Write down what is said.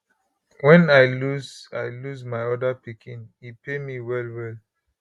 wen i lose i lose my oda pikin e pain me wellwell